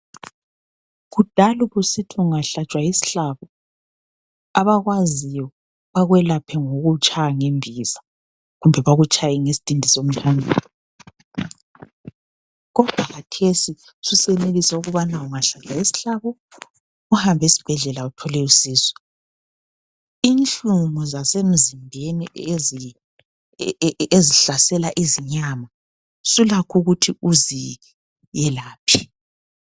Kudala ubusithi ungahlatshwa yisihlabo, abakwaziyo bakwelaphe ngokukutshaya ngembiza kumbe bakutshaye ngesidindi somthanyelo. Kodwa khathesi susenelisa ukubana ungahlatshwa yisihlabo uhambe esibhedlela uthole usizo .Inhlungu zasemzimbeni ezihlasela izinyama sulakho ukuthi uzelaphe.